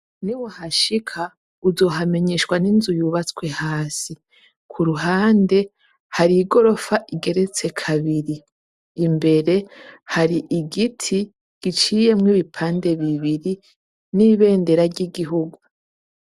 NI wahashika uzohamenyeshwa n'inzu yubatswe hasi. Ku ruhande hari igorofa igeretse kabiri. Imbere hari igiti giciyemwo ibipande bibiri n'ibendera ry'igihugu.